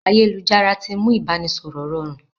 Ayélujára tí mú ibanisọrọ rọrùn